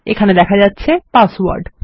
এখানে দেখা যাচ্ছে পাসওয়ার্ড